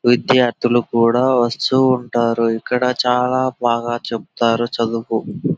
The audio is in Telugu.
విద్యార్థులు కూడా వస్తూ ఉంటారు. ఇక్కడ చాలా బాగా చెప్తారు చదువుకో--